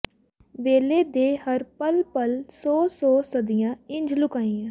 ਵੇਲੇ ਦੇ ਹਰ ਪਲ ਪਲ ਸੌ ਸੌ ਸਦੀਆਂ ਇੰਜ ਲੁਕਾਈਆਂ